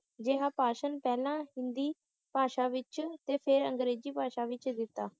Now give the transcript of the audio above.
ਜਿਹਾ ਭਾਸ਼ਣ ਪਹਿਲਾਂ ਹਿੰਦੀ ਭਾਸ਼ਾ ਵਿੱਚ ਤੇ ਫੇਰ ਅੰਗਰੇਜ਼ੀ ਭਾਸ਼ਾ ਵਿੱਚ ਦਿੱਤਾ